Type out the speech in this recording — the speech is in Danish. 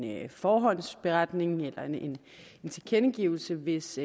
forhåndsunderretning eller en tilkendegivelse hvis